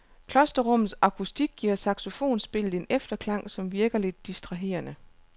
Klosterrummets akustik giver saxofonspillet en efterklang, som virker lidt distraherende.